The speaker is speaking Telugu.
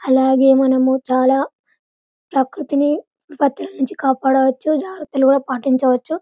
అలాగే మనము చాలా ప్రకృతిని కాపాడచ్చు జాగ్రత్తలు పాటించవచ్చు --